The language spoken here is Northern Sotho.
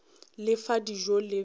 le fa dijo le bjala